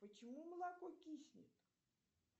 почему молоко киснет